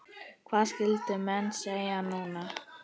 Hvað skyldu menn segja núna?